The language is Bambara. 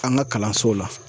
An ka kalansow la.